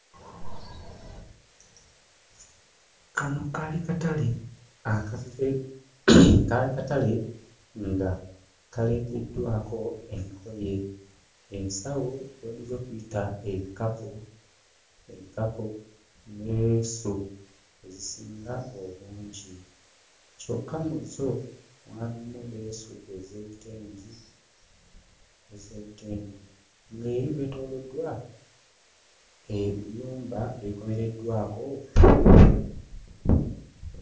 Kano kaali katale nga kaleegeddwako engoye, ensawo z'oyinza okuyita ebikapu ne leesu ezisinga obungi. Kyokka mu zo mwalimu leesu ez'ebitengi ng'eri weetooloddwa ebiyumba ebikomereddwako.